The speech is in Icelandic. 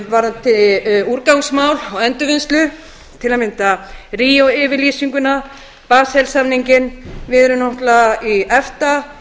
varðandi úrgangsmál og endurvinnslu til að mynda ríó yfirlýsinguna basel samninginn við erum náttúrlega í efta